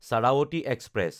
Sharavati express